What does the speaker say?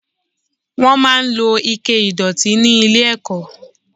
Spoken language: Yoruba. Wọ́n máa ń lo Ike ìdọ̀tí ní ilé ẹ̀kọ́